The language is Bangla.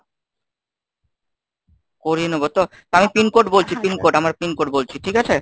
করিয় নেব তো? তা আমি pin code বলছি pin code আমার pin code বলছি ঠিক আছে?